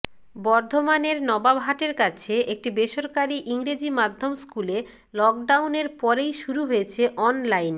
বর্ধমানের নবাবহাটের কাছে একটি বেসরকারি ইংরেজি মাধ্যম স্কুলে লকডাউনের পরেই শুরু হয়েছে অনলাইন